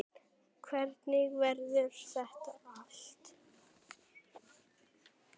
Hvernig verður þetta allt?